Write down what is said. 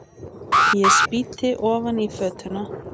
Ég spýti ofan í fötuna.